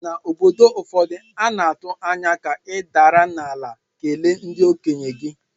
N’obodo ụfọdụ, a na-atụ anya ka ị dinara ala kelee ndị okenye gị